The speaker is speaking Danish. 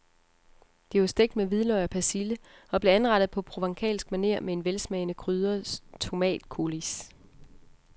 De var stegt med hvidløg og persille og blev anrettet på provencalsk maner på en velsmagende krydret tomatcoulis.